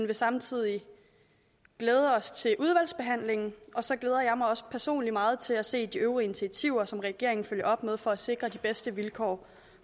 vil samtidig glæde os til udvalgsbehandlingen og så glæder jeg mig også personligt meget til at se de øvrige initiativer som regeringen vil følge op med for at sikre de bedste vilkår